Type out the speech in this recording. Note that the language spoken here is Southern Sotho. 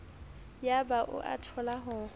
yaba o a thola ho